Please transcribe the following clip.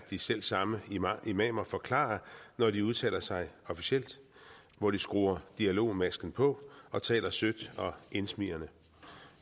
de selv samme imamer forklarer når de udtaler sig officielt hvor de skruer dialogmasken på og taler sødt og indsmigrende